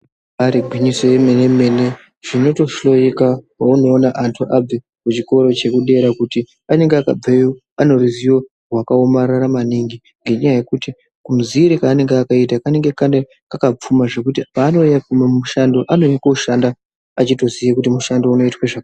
Ibairi gwinyiso ye mene mene tinoto hloyiko pauno ona antu abve ku chikore cheku dera kuti anenge akabveyo ane ruzivo hwaka omarara maningi ngenya yekuti ka muziviro kaanenge akaita kanenge kaka pfuma zvekuti paano anouya mu ma mishando anouye ko shanda achito ziye kuti mushando unoitwe zvakadini.